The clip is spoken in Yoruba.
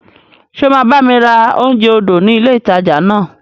Ṣé o máa bá mi ra oúnjẹ odò ni ilé ìtajà náà?